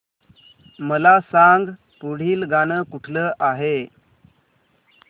मला सांग पुढील गाणं कुठलं आहे